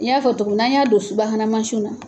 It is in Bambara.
N y'a fɔ to tugun n'an y'a don subahana mansinw na.